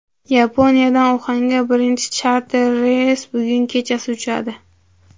Yaponiyadan Uxanga birinchi charter reys bugun kechasi uchadi.